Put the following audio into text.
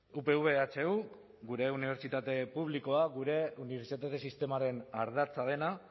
upv ehu gure unibertsitate publikoa gure unibertsitate sistemaren ardatza dena